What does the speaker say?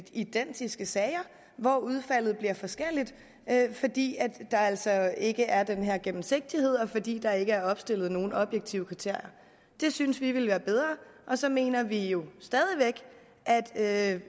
identiske sager hvor udfaldet bliver forskelligt fordi der altså ikke er den her gennemsigtighed og fordi der ikke er opstillet nogen objektive kriterier det synes vi ville være bedre så mener vi jo stadig